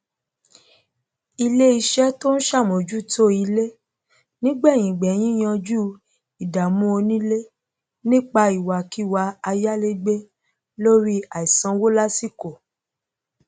iléiṣẹ tó ń sàmójútó ilé nígbẹyìngbẹyín yanjú ìdàmú onílé nípa ìwàkíwà ayalegbe lórí àìsanwó lásìkò